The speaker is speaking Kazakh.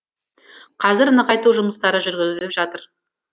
қазір нығайту жұмыстары жүргізіліп жатыр